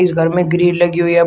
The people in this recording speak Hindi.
इस घर में गिरी लगी हुई है।